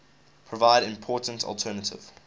provide important alternative